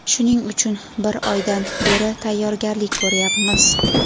Shuning uchun bir oydan beri tayyorgarlik ko‘ryapmiz.